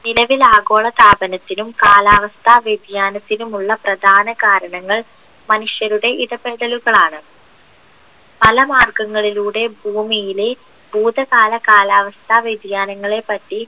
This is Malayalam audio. നിലവിൽ ആഗോളതാപനത്തിനും കാലാവസ്ഥ വ്യതിയാനത്തിനുമുള്ള പ്രധാന കാരണങ്ങൾ മനുഷ്യരുടെ ഇടപെടലുകളാണ് പല മാർഗങ്ങളിലൂടെ ഭൂമിയിലെ ഭൂതകാല കാലാവസ്ഥ വ്യതിയാനങ്ങളെ പറ്റി